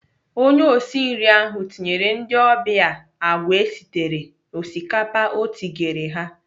Onye osi nri ahụ tinyere ndị ọbịa agwa esitere n'osikapa o kigere ha.